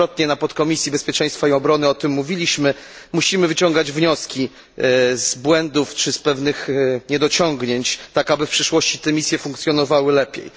Wielokrotnie w Podkomisji Bezpieczeństwa i Obrony o tym mówiliśmy, musimy wyciągać wnioski z błędów czy z pewnych niedociągnięć tak, aby w przyszłości te misje funkcjonowały lepiej.